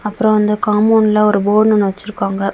அப்புறம் அந்த காம்பவுண்ட்ல ஒரு போர்டு ஒன்னு வச்சிருக்காங்க.